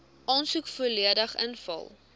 aansoek volledig ingevul